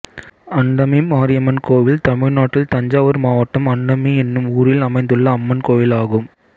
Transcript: அண்டமி மாரியம்மன் கோயில் தமிழ்நாட்டில் தஞ்சாவூர் மாவட்டம் அண்டமி என்னும் ஊரில் அமைந்துள்ள அம்மன் கோயிலாகும்